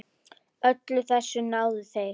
Öllu þessu náðu þeir.